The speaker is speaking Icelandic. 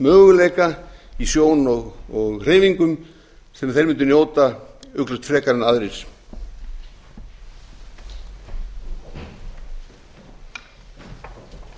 möguleika í sjón og hreyfingum sem þeir mundu njóta ugglaust frekar en aðrir